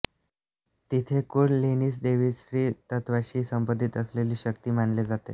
तिथे कुंडलिनीस दैवी स्त्रीत्वाशी संबंधित असलेली शक्ती मानले जाते